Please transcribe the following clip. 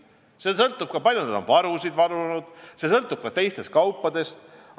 See sõltub ka sellest, kui palju on varusid varutud, ning see sõltub ka teiste kaupade hinnast.